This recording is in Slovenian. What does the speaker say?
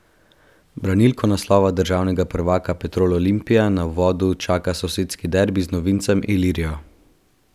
Branilko naslova državnega prvaka Petrol Olimpija na uvodu čaka sosedski derbi z novincem Ilirijo.